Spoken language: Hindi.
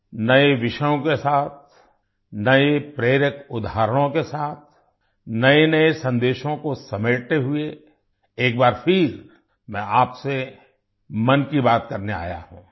नए विषयों के साथ नए प्रेरक उदाहरणों के साथ नएनए संदेशों को समेटते हुए एक बार फिर मैं आपसे मन की बात करने आया हूँ